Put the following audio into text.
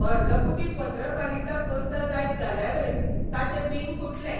अर्दकुटी पत्रकारिता करता जायत जाल्यारय ताचें बिंग फुट्लें.